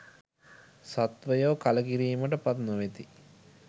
සත්වයෝ කලකිරීමට පත් නොවෙති.